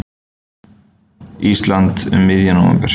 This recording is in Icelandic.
Íslands um miðjan nóvember.